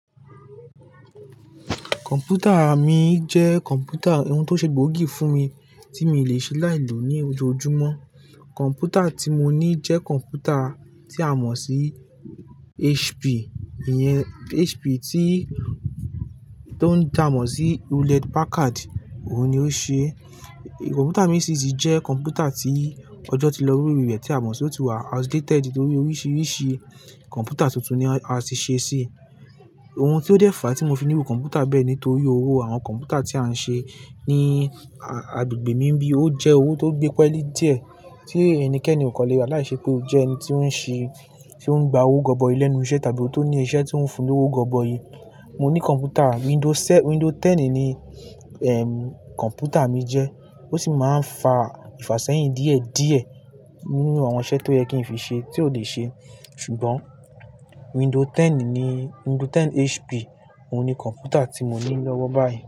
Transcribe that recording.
Kọ̀m̀pútà mi jẹ́ kọ̀m̀pútà ohun tó ṣè gbòógì fún mi tí mi ò lè ṣe láìlò ní ojoojúmọ. Kọ̀m̀pútà tí mo ní jẹ́ kọ̀m̀pútà tí a mọ̀ sí HP, iyẹn HP tí ó ń dá mọ̀ sí Hewlett Packard. Òun ni ó ṣe, kọ̀m̀pútà mi sì tíi jẹ́ kọ̀m̀pútà tí ọjọ́ ti lọ lorí rẹ̀ tí a mọ̀ sí ó ti wà outdated nítorí oríṣiríṣi kọ̀m̀pútà tuntun ni a ti ṣe síi. Ohun tí ó dẹ́fà tí mo fi nírù kọ̀m̀pútà bẹ́ẹ̀ ní nítorí owó àwọn kọ̀m̀pútà tí a ń ṣe ní agbègbè mi nibí, ó jẹ́ owó tó gbé peẹ́lí díẹ̀ tí ẹnikẹ́ni ò kan lè gbà láìṣẹ́ pé ó jẹ́ ẹni tí ó ń ṣe-- tí ó ń gba owó gọbọi ilé ní iṣẹ́ tàbí ó tó ní iṣẹ́ tí ó ń fun ní owó gọbọí. Mo ní kọ̀m̀pútà Windows se-- Windows mẹ́wàá ní, ehm, kọ̀m̀pútà mi jẹ́, ó sì máa ń fa ifàṣẹ́yìn díẹ̀ díẹ̀ nínú àwọn iṣẹ́ tó yẹ kí n fi ṣe tí ò lè ṣe. Ṣùgbọ́n Windows mẹ́wàá ní, Windows mẹ́wàá HP, òun ni kọ̀m̀pútà tí mo ní lọ́wọ́ báyìí.